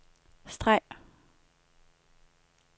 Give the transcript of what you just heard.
streg